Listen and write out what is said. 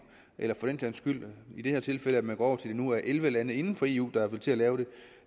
eller for den sags skyld i det her tilfælde at man går over til at det nu er elleve lande inden for eu der vil til at lave det